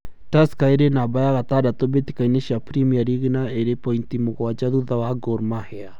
Tusker ĩri namba ya gatandatũ mbĩtĩkainĩ cia Premier League, na ĩrĩ pointi mũgwanja thutha wa Gormahia.